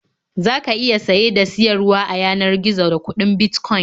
Za ka iya saye da siyarwa a yanar gizo da kuɗin Bitcoin.